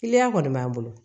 Kiliyan kɔni b'an bolo